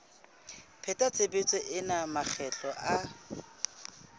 pheta tshebetso ena makgetlo a